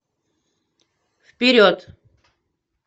вперед